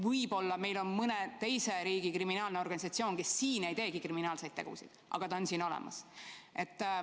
Võib-olla on meil siin mõne teise riigi kriminaalne organisatsioon, kes siin ei teegi kriminaalseid tegusid, aga ta on siin olemas.